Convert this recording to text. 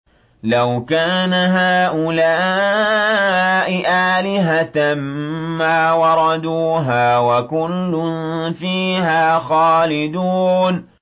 لَوْ كَانَ هَٰؤُلَاءِ آلِهَةً مَّا وَرَدُوهَا ۖ وَكُلٌّ فِيهَا خَالِدُونَ